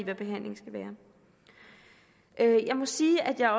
hvad behandling skal være jeg må sige at jeg